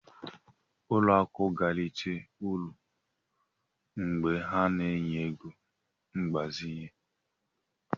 Ụlọ akụ ga-erite uru mgbe ha na-enye ego mgbazinye.